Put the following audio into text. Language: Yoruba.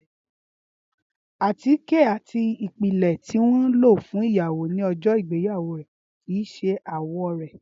Átíké ati ipilẹ ti wọn lo fun iyawo ni ọjọ igbeyawo rẹ kii ṣe awọ rẹ.